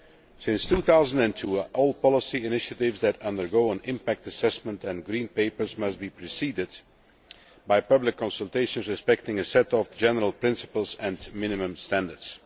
Since 2002, all policy initiatives that undergo an impact assessment, and Green Papers, must be preceded by public consultations that observe a set of general principles and minimum standards.